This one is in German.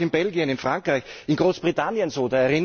Das ist aber auch in Belgien, in Frankreich, in Großbritannien so.